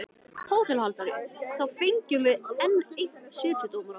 HÓTELHALDARI: Þá fengjum við enn einn setudómara.